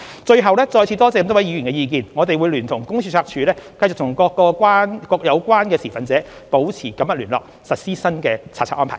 最後，再次多謝各位議員的意見，我們會聯同公司註冊處繼續與各相關持份者保持緊密聯絡，實施新查冊安排。